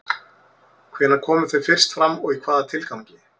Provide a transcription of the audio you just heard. Hvenær komu þau fyrst fram og í hvaða tilgangi?